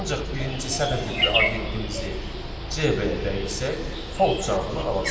Ancaq birinci sətir tipli obyektimizi CB-yə dəyişsək, false cavabını alacağıq.